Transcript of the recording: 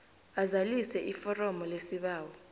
azalise iforomo lesibawo